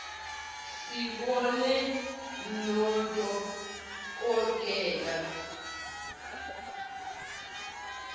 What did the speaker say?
sibonane nodo kotela